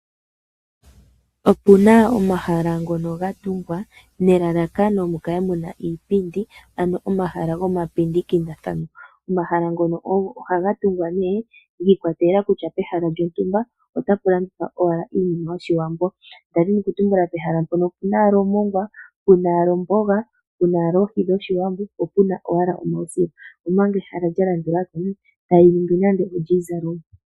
Opu na omahala ngono ga tungwa nelalakano mu kale mu na iipindi, ano omahala gomapindikilathano. Omahala ngoka ohaga tungwa nee shi ikwatelela kutya pehala lyontumba otapu landithwa owala iinima yOshiwambo nda dhini okutumbula pehala mpono opu na omongwa, pu na owala omboga, pu na owala oohi dhOshiwambo po pu na owala omausila, omanga ehala lya landula ko tali ningi nando olyiizalomwa.